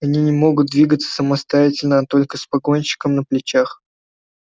они не могут двигаться самостоятельно а только с погонщиком на плечах